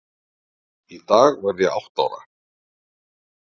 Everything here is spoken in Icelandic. Í dag varð ég átta ára.